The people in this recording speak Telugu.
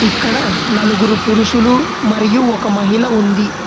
ఇక్కడ నలుగురు పురుషులు మరియు ఒక మహిళ ఉంది.